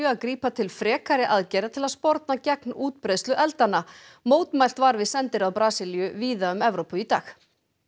að grípa til frekari aðgerða til að sporna gegn útbreiðslu eldanna mótmælt var við sendiráð Brasilíu víða um Evrópu í dag